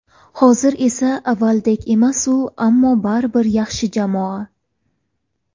Hozir esa avvalgidek emas-u, ammo baribir yaxshi jamoa.